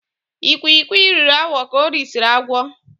Ikwikwi riri awọ ka orisiri agwọ.